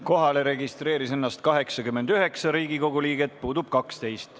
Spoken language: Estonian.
Kohalolijaks registreeris ennast 89 Riigikogu liiget, puudub 12.